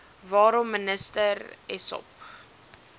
waarom minister essop